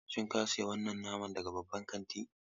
Shin ka sayi wannan naman daga babban kantin?